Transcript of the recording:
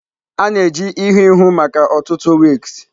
A na-eji ihu ihu maka ọtụtụ wigs.